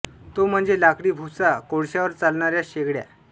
तो म्हणजे लाकडी भुसा व कोळश्यावर चालणाऱ्या शेगड्या